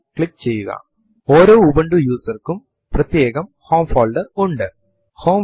right angle bracket ഉം file ന്റെ പേരും പിന്നീടു വരുന്നത് പോലെ കമാൻഡ് ടൈപ്പ് ചെയ്യുക